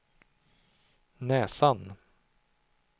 näsan